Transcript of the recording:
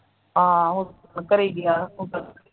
ਆਹੋ ਘਰੀ ਗਿਆ ਸੀ ਉਦਨ